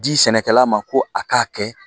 Di sɛnɛkɛla ma ko a k'a kɛ